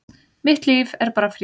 Mitt líf er bara frí